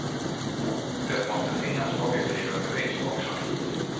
Det måste finnas objektiva bevis också.